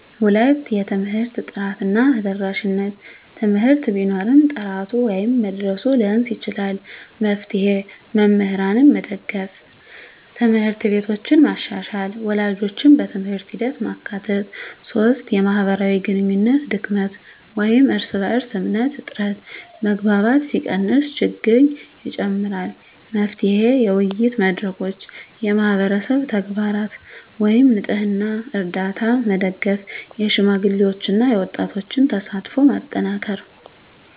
2) የትምህርት ጥራት እና ተደራሽነት: ትምህርት ቢኖርም ጥራቱ ወይም መድረሱ ሊያንስ ይችላል። መፍትሄ: መምህራንን መደገፍ፣ ት/ቤቶችን መሻሻል፣ ወላጆችን በትምህርት ሂደት ማካተት። 3) የማህበራዊ ግንኙነት ድክመት (እርስ በእርስ እምነት እጥረት): መግባባት ሲቀንስ ችግኝ ይጨምራል። መፍትሄ: የውይይት መድረኮች፣ የማህበረሰብ ተግባራት (ንፅህና፣ ርዳታ) መደገፍ፣ የሽማግሌዎችና የወጣቶች ተሳትፎን ማጠናከር።